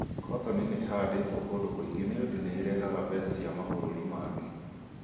kotoni nĩ ĩhandĩtwo kũndũ kũingĩ nĩũndũ nĩirehaga mbeca cia mabũrũri mangĩ